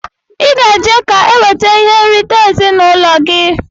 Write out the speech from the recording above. Iga eje ka ewete ihe nrita ezinụlọ gi!!